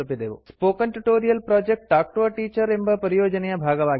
spoken tutorial project talk to a teacher ಎಂಬ ಪರಿಯೋಜನೆಯ ಭಾಗವಾಗಿದೆ